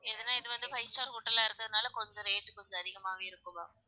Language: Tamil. எதுனா இது வந்து five star hotel ஆ இருக்கறதனால கொஞ்சம் rate கொஞ்சம் அதிகமாவே இருக்கும் ma'am